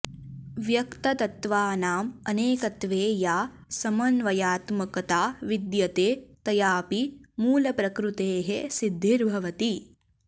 व्यक्ततत्त्वानाम् अनेकत्वे या समन्वयात्मकता विद्यते तयापि मूलप्रकृतेः सिद्धिर्भवति